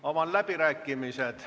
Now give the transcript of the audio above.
Avan läbirääkimised.